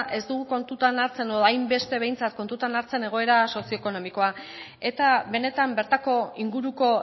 ez dugu kontutan hartzen edo hainbeste behintzat kontutan hartzen egoera sozio ekonomikoa eta benetan bertako inguruko